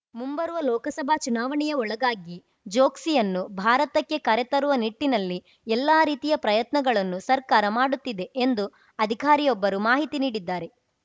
ಮುಂಬರುವ ಲೋಕಸಭಾ ಚುನಾವಣೆಯ ಒಳಗಾಗಿ ಚೋಕ್ಸಿಯನ್ನು ಭಾರತಕ್ಕೆ ಕರೆ ತರುವ ನಿಟ್ಟಿನಲ್ಲಿ ಎಲ್ಲಾ ರೀತಿಯ ಪ್ರಯತ್ನಗಳನ್ನು ಸರ್ಕಾರ ಮಾಡುತ್ತಿದೆ ಎಂದು ಅಧಿಕಾರಿಯೊಬ್ಬರು ಮಾಹಿತಿ ನೀಡಿದ್ದಾರೆ